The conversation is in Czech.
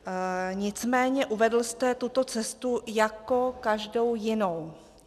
Nicméně uvedl jste tuto cestu jako každou jinou.